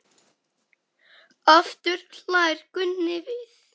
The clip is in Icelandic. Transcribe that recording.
Aftur hlær Gunni við.